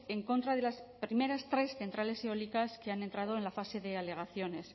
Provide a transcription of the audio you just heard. en contra de las primeras tres centrales eólicas que han entrado en la fase de alegaciones